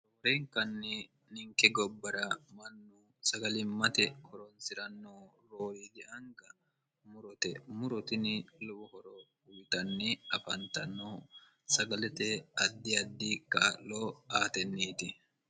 roorenkanni ninke gobbara mannu sagalimmate koronsi'ranno roowidi anga murote murotinni lowo horo uyitanni afantanno sagalete addi addi ka'loo aatenniiti